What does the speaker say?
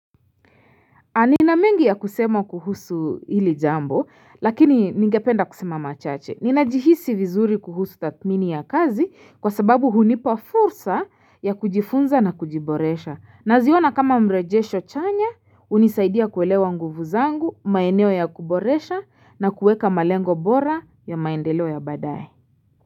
Nina mengi ya kusema kuhusu hili jambo, lakini ningependa kusema machache. Ninajihisi vizuri kuhusu tathmini ya kazi kwa sababu hunipa fursa ya kujifunza na kujiboresha. Naziona kama mrejesho chanya, hunisaidia kuelewa nguvu zangu, maeneo ya kuboresha na kuweka malengo bora ya maendelo ya baadaye.